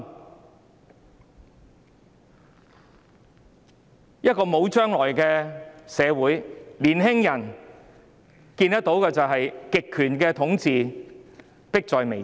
在一個沒有將來的社會，年輕人看見的是極權統治迫在眉睫。